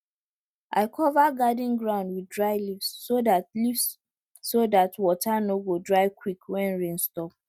i cover garden ground with dry leaves so dat leaves so dat water no go dry quick when rain stop